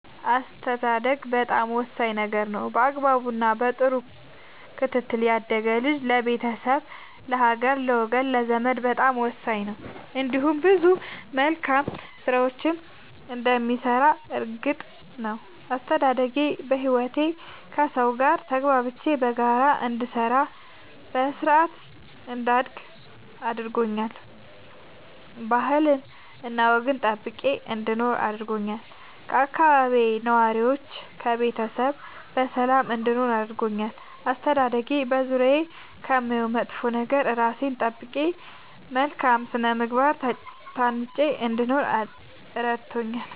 አስተዳደግ በጣም ወሳኝ ነገር ነው በአግባቡ እና በጥሩ ክትትል ያደገ ልጅ ለቤተሰብ ለሀገር ለወገን ለዘመድ በጣም ወሳኝ ነው እንዲሁም ብዙ መልካም ስራዎችን እንደሚሰራ እርግጥ ነው። አስተዳደጌ በህይወቴ ከሠው ጋር ተግባብቼ በጋራ እንድሰራ በስርአት እንዳድግ አድርጎኛል ባህልና ወግን ጠብቄ እንድኖር አድርጎኛል ከአካባቢዬ ነዋሪዎች ከቤተሰብ በሰላም እንድኖር አድርጎኛል። አስተዳደጌ በዙሪያዬ ከማየው መጥፎ ነገር እራሴን ጠብቄ በመልካም ስነ ምግባር ታንጬ እንድኖር እረድቶኛል።